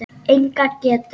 Enga getu.